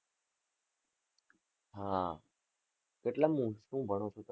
હા કેટલામું, શું ભણો છો?